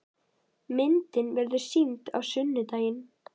Myndin verður sýnd á sunnudaginn.